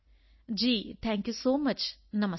ਜੀ thank you so much ਨਮਸਕਾਰ